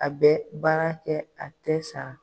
A bɛ baara kɛ a tɛ san